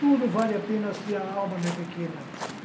Tudo vale a pena se a alma não é pequena.